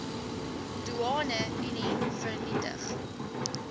doeane unie vernietig